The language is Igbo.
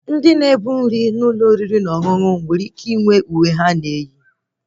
Onye na-ebu nri n'ụlọ oriri na ọṅụṅụ nwere ike inwe uwe ha na-eyi